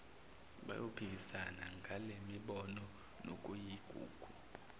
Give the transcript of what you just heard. bayophikisana ngalemibono nokuyigugu